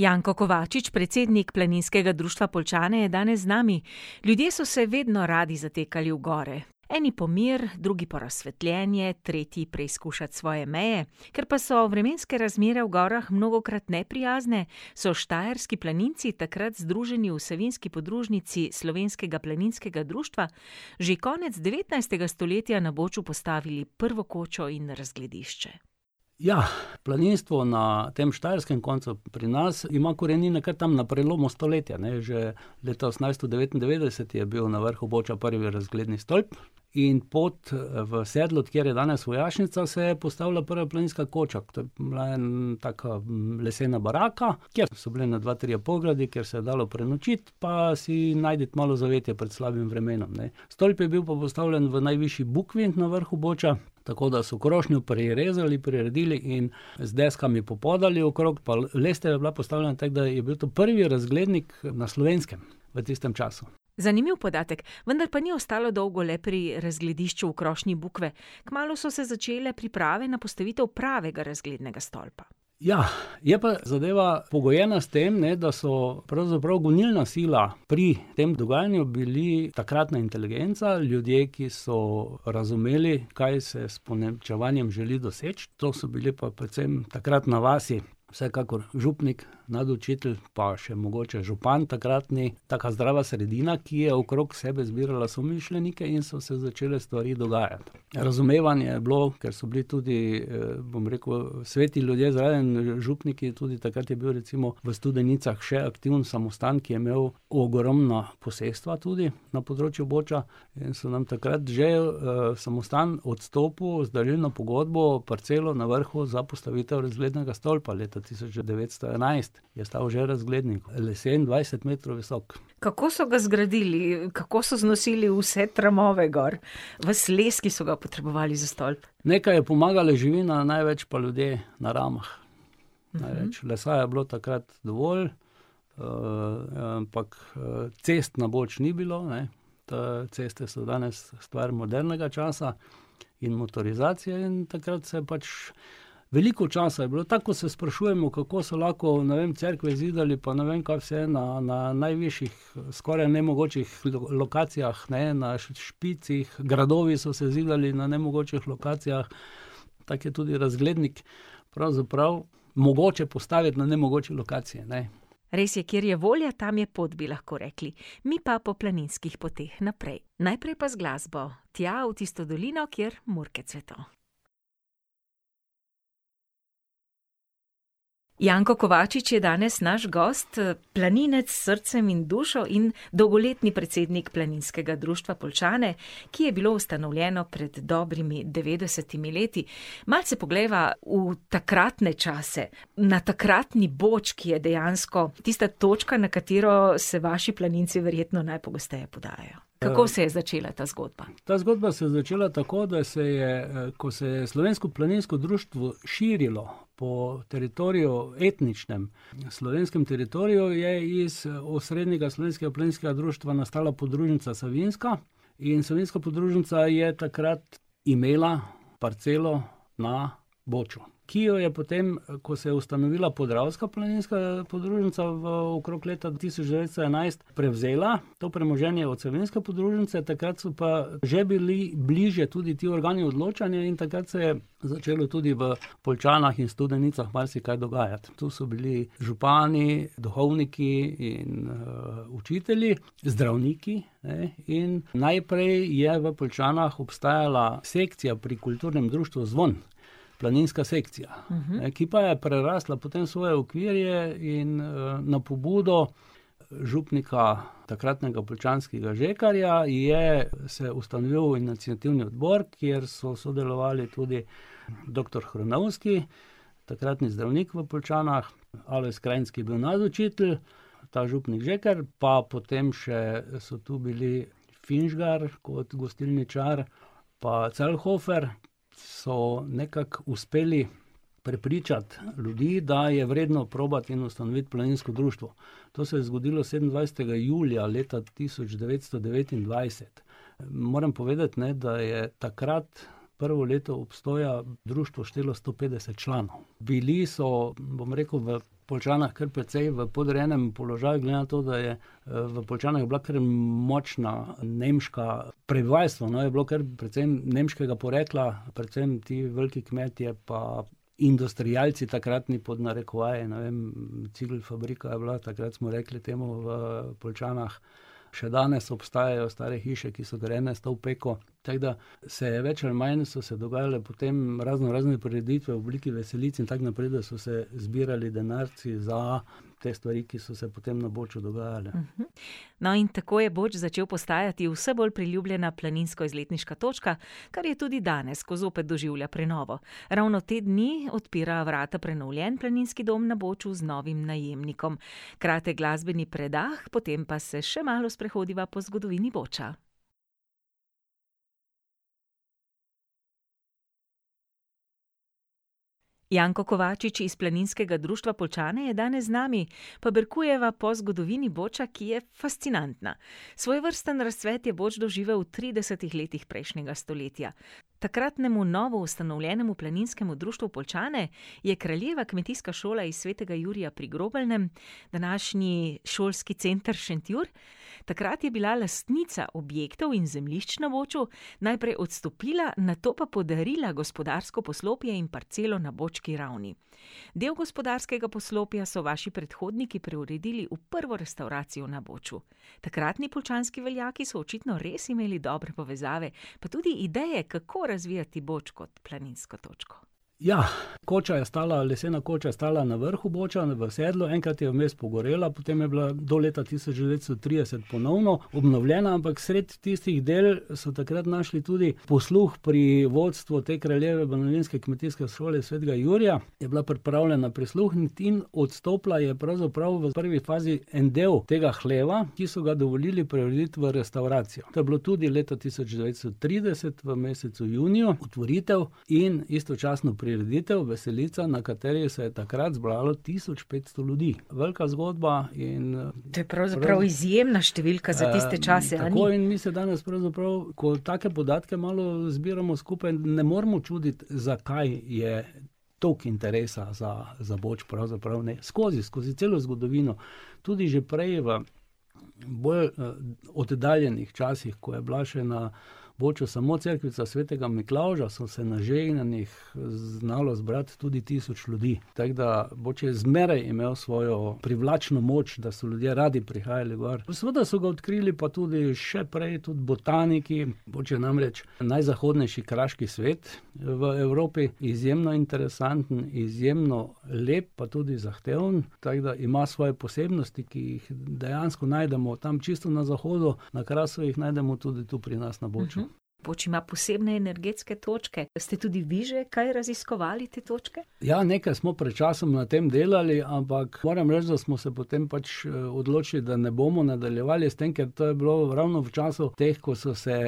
Janko Kovačič, predsednik Planinskega društva Poljčane, je danes z nami. Ljudje so se vedno radi zatekali v gore. Eni po mir, drugi po razsvetljenje, tretji preizkušat svoje meje. Ker pa so vremenske razmere v gorah mnogokrat neprijazne, so štajerski planinci, takrat združeni v savinjski podružnici Slovenskega planinskega društva, že konec devetnajstega stoletja na Boču postavili prvo kočo in razgledišče. Ja, planinstvo na tem štajerskem koncu pri nas ima korenine kar tam na prelomu stoletja, ne, že leta osemnajststo devetindevetdeset je bil na vrhu Boča prvi razgledni stolp in pod, v sedlo, kjer je danes vojašnica, se je postavila prva planinska koča. To je bila taka lesena baraka, kjer so bili ene dva, trije pogradi, kjer se je dalo prenočiti pa si najti malo zavetja pred slabim vremenom, ne. Stolp je bil pa postavljen v najvišji bukvi na vrhu Boča, tako da so krošnjo prirezali, priredili in z deskami popodali okrog pa lestev je bila postavljena, tako da je bil to prvi razglednik, na Slovenskem v tistem času. Zanimiv podatek, vendar pa ni ostalo dolgo le pri razgledišču v krošnji bukve, kmalu so se začele priprave na postavitev pravega razglednega stolpa. Ja, je pa zadeva pogojena s tem, ne, da so pravzaprav gonilna sila pri tem dogajanju bili takratna inteligenca, ljudje, ki so razumeli, kaj se je s ponemčevanjem želi doseči. To so bili pa predvsem takrat na vasi, vsekakor župnik, nadučitelj, pa še mogoče župan takratni. Taka zdrava sredina, ki je okrog sebe zbirala somišljenike, in so se začele stvari dogajati. Razumevanje je bilo, ker so bili tudi, bom rekel sveti ljudje zraven. Župniki, tudi takrat je bil recimo v Studenicah še aktiven samostan, ki je imel ogromno posestva tudi na področju Boča. In so nam takrat že, samostan odstopil z darilno pogodbo parcelo na vrhu za postavitev razglednega stolpa, leta tisoč devetsto enajst je stal že razgledni, lesen, dvajset metrov visok. Kako so ga zgradili? Kako so znosili vse tramove gor? Ves les, ki so ga potrebovali za stolp? Nekaj je pomagala živina, največ pa ljudje, na ramah. Največ lesa je bilo takrat dovolj, ampak, cest na Boč ni bilo, ne. Te ceste so danes stvar modernega časa in motorizacije in takrat se je pač ... Veliko časa je bilo, tako ko se sprašujemo, kako so lahko, ne vem, cerkve zidali pa ne vem, kako vse na, na, najvišjih, skoraj nemogočih lokacijah, ne, na špicih, gradovi so se zidali na nemogočih lokacijah, tako je tudi razglednik, pravzaprav mogoče postaviti na nemogoči lokaciji, ne. Res je. Kjer je volja, tam je pot, bi lahko rekli. Mi pa po planinskih poteh naprej. Najprej pa z glasbo. Tja v tisto dolino, kjer murke cveto. Janko Kovačič je danes naš gost, planinec s srcem in dušo in dolgoletni predsednik Planinskega društva Poljčane, ki je bilo ustanovljeno pred dobrimi devetdesetimi leti. Malce poglejva v takratne čase, na takratni Boč, ki je dejansko tista točka, na katero se vaši planinci verjetno najpogosteje podajo. ... Kako se je začela ta zgodba? Ta zgodba se je začela tako, da se je, ko se je Slovensko planinsko društvo širilo po teritoriju, etničnem, na slovenskem teritoriju, je iz, osrednjega Slovenskega planinskega društva nastala podružnica Savinjska. In savinjska podružnica je takrat imela parcelo na Boču. Ki jo je potem, ko se je ustanovila podravska planinska podružnica, v okrog leta tisoč devetsto enajst, prevzela to premoženje od savinjske podružnice, takrat so pa že bili bliže tudi ti organi odločanja in takrat se je začelo tudi v Poljčanah in Studenicah marsikaj dogajati. Tu so bili župani, duhovniki in, učitelji, zdravniki, ne, in najprej je v Poljčanah obstajala sekcija pri Kulturnem društvu Zvon. Planinska sekcija, ki pa je prerasla potem svoje okvirje in, na pobudo župnika, takratnega poljčanskega, Žekarja, je se ustanovil iniciativni odbor, kjer so sodelovali tudi doktor Hrnovski, takratni zdravnik v Poljčanah, [ime in priimek] , ki je bil nadučitelj ta župnik Žekar, pa potem še so to bili Finžgar kot gostilničar, pa Celjhofer, so nekako uspeli prepričati ljudi, da je vredno probati in ustanoviti planinsko društvo. To se je zgodilo sedemindvajsetega julija leta tisoč devetsto devetindvajset. Moram povedati, ne, da je takrat prvo leto obstoja društvo štelo sto petdeset članov. Bili so, bom rekel, v Poljčanah kar precej v podrejenem položaju glede na to, da je, v Poljčanah bila kar močna nemška, prebivalstvo, no, je bilo kar predvsem nemškega porekla, predvsem ti veliki kmetje pa industrialci takratni pod narekovaje, ne vem, cigelfabrika je bila, takrat smo rekli temu v Poljčanah. Še danes obstajajo stare hiše, ki so grajene s to opeko, tako da se je več ali manj so se dogajale potem raznorazne prireditve v obliki veselic in tako naprej, da so se zbirali denarci za te stvari, ki so se potem na Boču dogajale. No, in tako je Boč začel postajati vse bolj priljubljena planinsko-izletniška točka, kar je tudi danes, ko zopet doživlja prenovo. Ravno te dni odpira vrata prenovljen planinski dom na Boču z novim najemnikom. Kratek glasbeni predah, potem pa se še malo sprehodiva po zgodovini Boča. Janko Kovačič iz Planinskega društva Poljčane je danes z nami. Paberkujeva po zgodovini Boča, ki je fascinantna. Svojevrsten razcvet je Boč doživel v tridesetih letih prejšnjega stoletja. Takratnemu novoustanovljenemu Planinskemu društvu Poljčane je kraljeva kmetijska šola iz Svetega Jurija pri Grobeljnem, današnji Šolski center Šentjur, takrat je bila lastnica objektov in zemljišč na Boču. Najprej odstopila, nato pa podarila gospodarsko poslopje in parcelo na Bočki ravni. Del gospodarskega poslopja so vaši predhodniki preuredili v prvo restavracijo na Boču. Takratni poljčanski veljaki so očitno res imeli dobre povezave, pa tudi ideje, kako razvijati Boč kot planinsko točko. Ja, koča je stala, lesena koča je stala na vrhu Boča, v sedlu, enkrat je vmes pogorela, potem je bila do leta tisoč devetsto trideset ponovno obnovljena, ampak sredi tistih del so takrat našli tudi posluh pri vodstvu te kraljeve Svetega Jurija, je bila pripravljena prisluhniti in odstopila je pravzaprav v prvi fazi en del tega hleva, ki so ga dovolili preurediti v restavracijo. To je bilo tudi leta tisoč devetsto trideset v mesecu juniju, otvoritev in istočasno prireditev, veselica, na kateri se je takrat zbralo tisoč petsto ljudi. Velika zgodba in, ... To je pravzaprav izjemna številka za tiste čase, a ni? tako. In mi se danes pravzaprav, ko take podatke malo zbiramo skupaj, ne moremo čuditi, zakaj je toliko interesa za, za Boč pravzaprav, ne, skozi, skozi celo zgodovino. Tudi že prej v bolj, oddaljenih časih, ko je bila še na Boču samo cerkvica Svetega Miklavža, so se na žegnanjih, znalo zbrati tudi tisoč ljudi. Tako da Boč je zmeraj imel svojo privlačno moč, da so ljudje radi prihajali gor. Pa seveda so ga odkrili, pa tudi še prej tudi botaniki. Boč je namreč najzahodnejši kraški svet, v Evropi. Izjemno interesanten, izjemno lep, pa tudi zahteven, tako da ima svoje posebnosti, ki jih dejansko najdemo tam čisto na zahodu, na Krasu, jih najdemo tudi tu pri nas na Boču. Boč ima posebne energetske točke. Ste tudi vi že kaj raziskovali te točke? Ja, nekaj smo pred časom na tem delali, ampak moram reči, da smo se potem pač, odločili, da ne bomo nadaljevali s tem, ker to je bilo ravno v času teh, ko so se,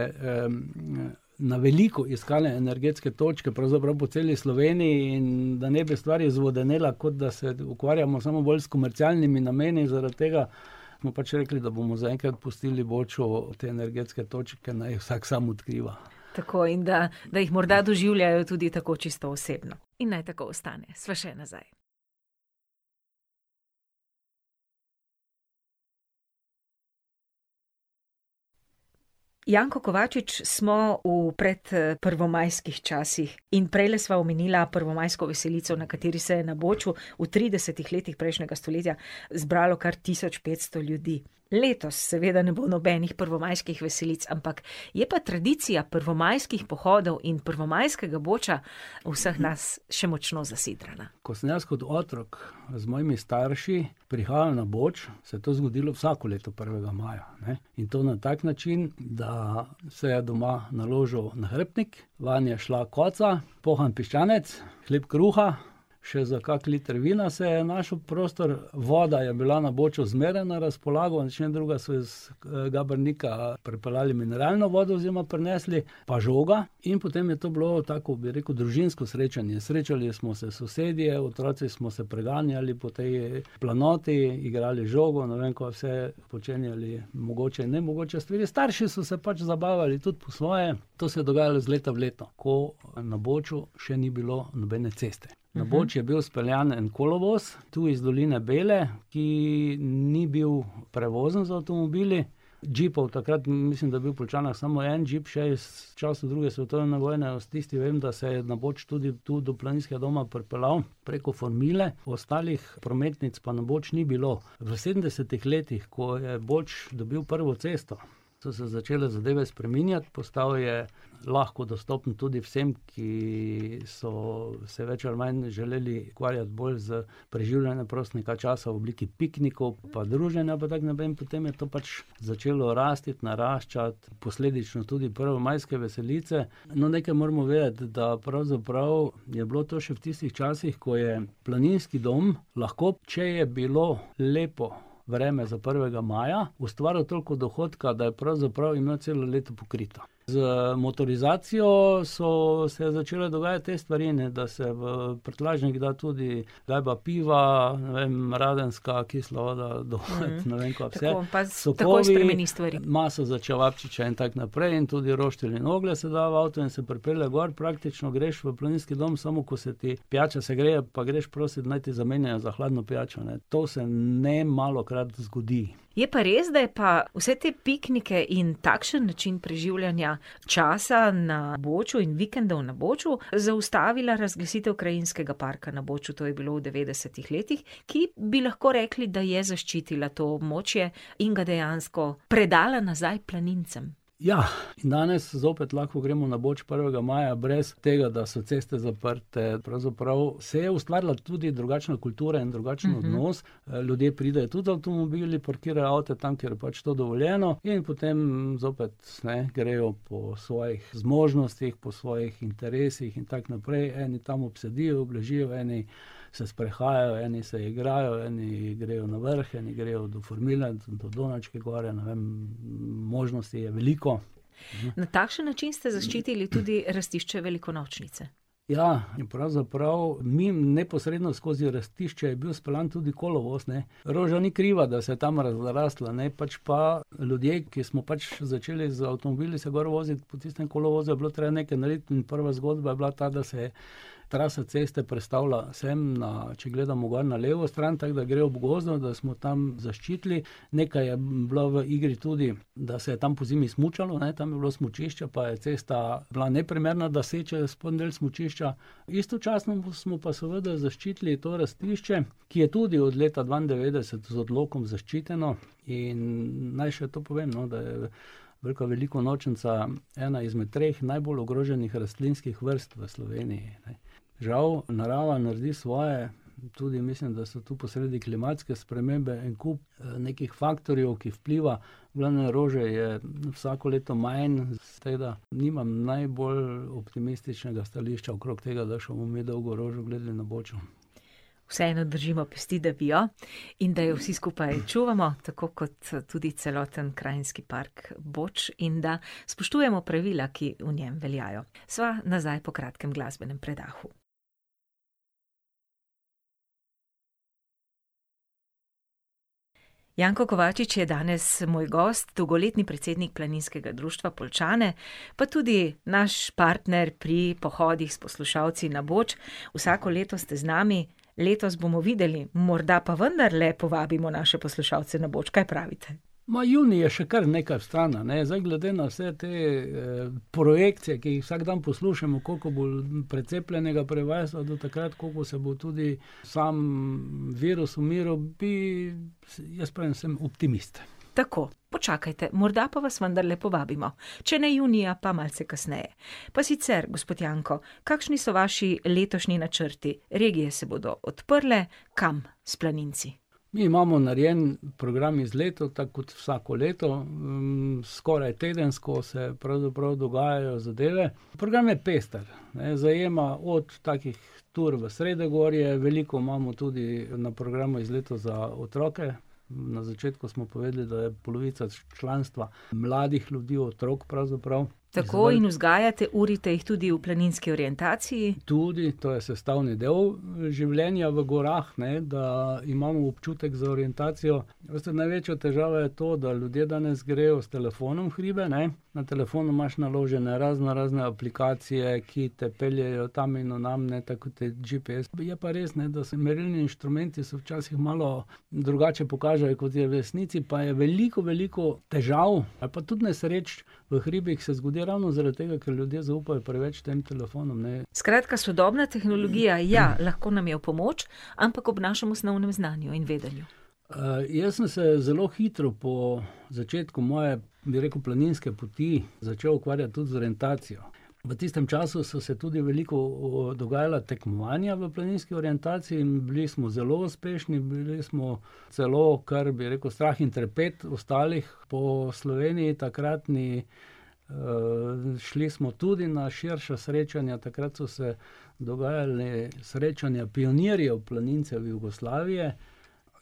na veliko iskale energetske točke, pravzaprav po celi Sloveniji, in da ne bi stvar izvodenela, kot da se ukvarjamo samo bolj s komercialnimi nameni zaradi tega, smo pač rekli, da bomo zaenkrat pustili Boču te energetske točke, naj jih vsak sam odkriva. Tako, in da, da jih morda doživljajo tudi tako čisto osebno. In naj tako ostane. Sva še nazaj. Janko Kovačič, smo v predprvomajskih časih in prejle sva omenila prvomajsko veselico, na kateri se na Boču v tridesetih letih prejšnjega stoletja zbralo kar tisoč petsto ljudi. Letos seveda ne bo nobenih prvomajskih veselic, ampak je pa tradicija prvomajskih pohodov in prvomajskega Boča v vseh nas še močno zasidrana. Ko sem jaz kot otrok z mojimi starši prihajal na Boč, se je to zgodilo vsako leto prvega maja, ne, in to na tak način, da se je doma naložil nahrbtnik, vanj je šla koca, pohan piščanec, hleb kruha, še za kakšen liter vina se je našel prostor, voda je bila na Boču zmeraj na razpolago, če ne drugega, so jo, Gabrnika pripeljali mineralno vodo oziroma prinesli pažoga. In potem je to bilo, tako kot bi rekel, družinsko srečanje, srečali smo se sosedje, otroci smo se preganjali po tej planoti, igrali z žogo, ne vem, kva vse počenjali, mogoče, nemogoče stvari. Starši so se pač zabavali tudi po svoje. To se je dogajalo iz leta v leto, ko na Boču še ni bilo nobene ceste. Na Boč je bil speljan en kolovoz, tu iz doline Bele, ki ni bil prevozen z avtomobili. Džipov takrat, mislim, da je bil v Poljčanah samo en džip še iz časov druge svetovne vojne. S tistim, vem, da se je na Boč tudi tu do planinskega doma pripeljal preko formile, ostalih prometnic pa na Boč ni bilo. V sedemdesetih letih, ko je Boč dobil prvo cesto, so se začele zadeve spreminjati, postal je lahko dostopen tudi vsem, ki so se več ali manj želeli ukvarjati bolj s preživljanjem prostega časa v obliki piknikov pa druženja pa tako naprej, in potem je to pač začelo rasti, naraščati, posledično tudi prvomajske veselice. No, nekaj moramo vedeti, da pravzaprav je bilo to še v tistih časih, ko je planinski dom lahko, če je bilo lepo vreme za prvega maja, ustvaril toliko dohodka, da je pravzaprav imel celo leto pokrito. Z motorizacijo so se začele dogajati te stvari, ne, da se v prtljažnik da tudi gajba piva, ne vem, Radenska, kisla voda, ne vem, kaj vse. Sokovi, tako pa takoj spremeni stvari. maso za čevapčiče in tako naprej. In tudi roštilj in oglje se da v avto in se pripelje gor, praktično greš v planinski dom samo, ko se ti pijača segreje pa greš prosit, naj ti zamenjajo za hladno pijačo, ne. To se nemalokrat zgodi. Je pa res, da je pa vse te piknike in takšen način preživljanja časa na Boču in vikendov na Boču zaustavila razglasitev krajinskega parka na Boču. To je bilo v devetdesetih letih, ki, bi lahko rekli, da je zaščitila to območje in ga dejansko predala nazaj planincem. Ja, danes zopet lahko gremo na Boč prvega maja brez tega, da so ceste zaprte, pravzaprav se je ustvarila tudi drugačna kultura in drugačen odnos. ljudje pridejo tudi z avtomobili, parkirajo avte tam, kjer je to pač dovoljeno in potem zopet, ne, grejo po svojih zmožnostih, po svojih interesih in tako naprej, eni tam obsedijo, obležijo, eni se sprehajajo, eni se igrajo, eni grejo na vrh, eni grejo do formila, do Donačke gor, ne vem, možnosti je veliko. Na takšen način ste zaščitili tudi rastišče velikonočnice. Ja, in pravzaprav mimo, neposredno skozi rastišče, je bil speljan tudi kolovoz, ne. Roža ni kriva, da se je tam razrastla, ne, pač pa ljudje, ki smo pač začeli z avtomobili se gor voziti, po tistem kolovozu je bilo treba nekaj narediti in prva zgodba je bila ta, da se je trasa ceste prestavila sem na, če gledamo gor na levo stran, tako da gre ob gozdu, da smo tam zaščitili. Nekaj je bila v igri tudi, da se je tam pozimi smučalo, ne, tam je bilo smučišče, pa je cesta bila neprimerna, da sečejo spodnji del smučišča. Istočasno smo pa seveda zaščitili to rastišče, ki je tudi od leta dvaindevetdeset z odlokom zaščiteno. In naj še to povem, no, da je velika velikonočnica ena izmed treh najbolj ogroženih rastlinskih vrst v Sloveniji. Žal narava naredi svoje, tudi mislim, da so tu posredi klimatske spremembe, en kup, nekih faktorjev, ki vpliva. V glavnem, rože je vsako leto manj, tako da nimam najbolj optimističnega stališča okrog tega, da še bomo mi dolgo rožo gledali na Boču. Vseeno držimo pesti, da bi jo in da jo vsi skupaj čuvamo, tako kot tudi celoten krajinski park Boč, in da spoštujemo pravila, ki v njem veljajo. Sva nazaj po kratkem glasbenem predahu. Janko Kovačič je danes moj gost, dolgoletni predsednik Planinskega društva Poljčane, pa tudi naš partner pri pohodih s poslušalci na Boč. Vsako leto ste z nami, letos bomo videli, morda pa vendarle povabimo naše poslušalce ne Boč, kaj pravite? Ma, junij je še kar nekaj stran, a ne. Zdaj glede na vse te, projekcije, ki jih vsak dan poslušamo, koliko bo precepljenega prebivalstva do takrat, koliko se bo tudi samo virus umiril, bi ... Si jaz pravim, sem optimist. Tako. Počakajte, morda pa vas vendarle povabimo. Če ne junija, pa malce kasneje. Pa sicer, gospod Janko, kakšni so vaši letošnji načrti? Regije se bodo odprle, kam s planinci? Mi imamo narejen program izletov, tako kot vsako leto, skoraj tedensko se pravzaprav dogajajo zadeve. Program je pester, ne, zajema od takih tur v sredogorje, veliko imamo tudi na programu izletov za otroke. Na začetku smo povedali, da je polovica članstva mladih ljudi, otrok pravzaprav. Tako, in vzgajate, urite jih tudi v planinski orientaciji. Tudi, to je sestavni del življenja v gorah, ne, da imamo občutek za orientacijo, največja težava je to, da ljudje danes grejo s telefonom v hribe, ne. Na telefonu imaš naložene raznorazne aplikacije, ki te peljejo tam in na nam, ne, tako kot je GPS, je pa res, ne, da se merilni inštrumenti so včasih malo drugače pokažejo, kot je v resnici, pa je veliko, veliko težav ali pa tudi nesreč v hribih se zgodi ravno zaradi tega, ker ljudje zaupajo preveč tem telefonom. Skratka, sodobna tehnologija, ja, lahko nam je v pomoč, ampak ob našem osnovnem znanju in vedenju. jaz sem se zelo hitro po začetku moje, bi rekel, planinske poti, začel ukvarjati tudi z orientacijo. V tistem času so se tudi veliko dogajala tekmovanja v planinski orientaciji in bili smo zelo uspešni, bili smo celo, kar bi rekli, strah in trepet ostalih po Sloveniji takratni, šli smo tudi na širša srečanja, takrat so se dogajala srečanja pionirjev planincev Jugoslavije.